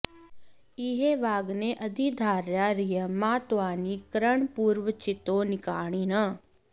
इ॒हैवाग्ने॒ अधि॑ धारया र॒यिं मा त्वा॒ नि क्र॑न्पूर्व॒चितो॑ निका॒रिणः॑